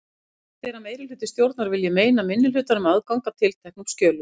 Hugsanlegt er að meirihluti stjórnar vilji meina minnihlutanum aðgang að tilteknum skjölum.